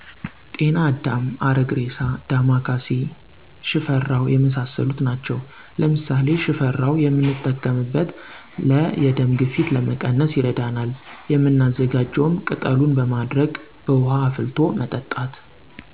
ጤናአዳም፣ አረግሬሳ፣ ዳማካሴ፣ ሽፈራው የመሣሠሉት ናቸው። ለምሣሌ ሽፈራው የምንጠቀምበት ለ የደም ግፊት ለመቀነስ ይረዳናል፤ የምናዘጋጀውም ቅጠሉን በማድረቅ በውሀ አፍልቶ መጠጣት።